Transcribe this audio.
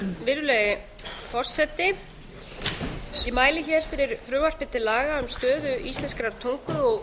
virðulegi forseti ég mæli fyrir frumvarpi til laga um stöðu íslenskrar tungu og